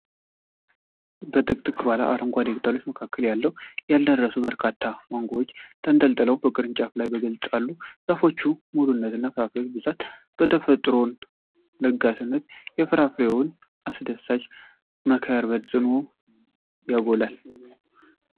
በጥቅጥቅ ባለ አረንጓዴ ቅጠሎች መካከል ያልደረሱ በርካታ ማንጎዎች በተንጠለጠሉበት ቅርንጫፎች ላይ በግልጽ አሉ። የዛፉ ሙሉነትና የፍሬዎቹ ብዛት የተፈጥሮን ለጋስነትና የፍራፍሬውን አስደሳች መከር በጽኑ ያጎላል።